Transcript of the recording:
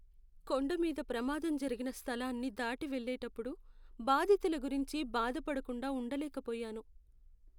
కొండ మీద ప్రమాదం జరిగిన స్థలాన్ని దాటి వెళ్ళేటప్పుడు బాధితుల గురించి బాధపడకుండా ఉండలేకపోయాను.